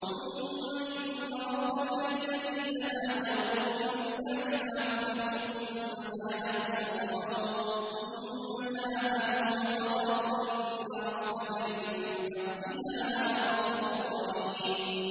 ثُمَّ إِنَّ رَبَّكَ لِلَّذِينَ هَاجَرُوا مِن بَعْدِ مَا فُتِنُوا ثُمَّ جَاهَدُوا وَصَبَرُوا إِنَّ رَبَّكَ مِن بَعْدِهَا لَغَفُورٌ رَّحِيمٌ